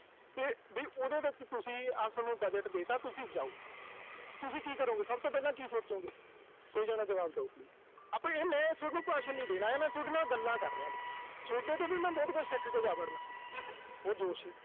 ਵੀ ਉਹਦੇ ਵਿੱਚ ਤੁਸੀਂ, ਆਹ ਸੋਨੂੰ ਬਜਟ ਦੇਤਾ ਤੁਸੀਂ ਜਾਓ। ਤੁਸੀਂ ਕੀ ਕਰੋਂਗੇ, ਸਭ ਤੋਂ ਪਹਿਲਾਂ ਕੀ ਸੋਚੋਂਗੇ। ਜਵਾਬ ਦਿਓ। ਆਪਣੇ ਮੈਂ ਸੋਨੂੰ ਭਾਸ਼ਮ ਨੀਂ ਦੇਣ ਆਇਆ, ਮੈਂ ਸੋਡੇ ਨਾਲ ਗੱਲਾਂ ਕਰ ਰਿਹਾ ਵਾਂ, ਸੋਡੇ ਤੋਂ ਵੀ ਮੈਂ ਬਹੁਤ ਕੁਝ ਸਿੱਖ ਕੇ ਜਾ ਵੜਨਾ ਵਾ। ਉਹ